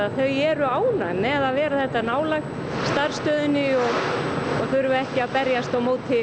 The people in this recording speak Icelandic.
eru ánægð með að vera þetta nálægt starfsstöðinni og þurfa ekki að berjast á móti